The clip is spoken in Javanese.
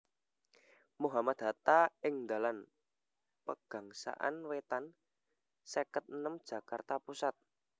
Mohammad Hatta ing Dalan Pegangsaan Wétan seket enem Jakarta Pusat